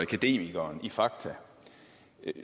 akademikeren i fakta